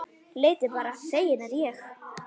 Leitið bara, feginn er ég.